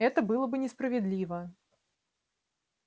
это было бы несправедливо